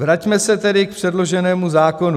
Vraťme se tedy k předloženému zákonu.